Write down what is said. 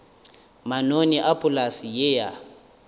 manoni a polase ye ya